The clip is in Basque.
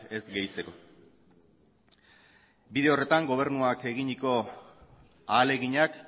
ez gehitzeko bide horretan gobernuak eginiko ahaleginak